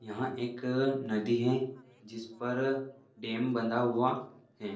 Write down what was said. यहाँ एक नदी हैं जिस पर डैम बंधा हुआ हैं।